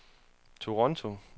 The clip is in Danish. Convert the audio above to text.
Toronto